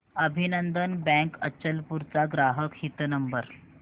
अभिनंदन बँक अचलपूर चा ग्राहक हित नंबर